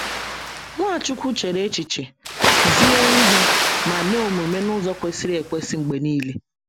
Nwachukwu chere echiche, zie ihe, ma mee omume n’ụzọ kwesịrị ekwesị mgbe nile.